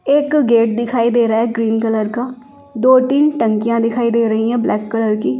एक गेट दिखाई दे रहा है ग्रीन कलर का दो-तीन टंकियां दिखाई दे रही है ब्लैक कलर की--